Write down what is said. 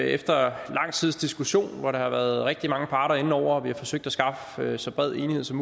efter lang tids diskussion hvor der har været rigtig mange parter inde over og hvor vi har forsøgt at skaffe så bred enighed som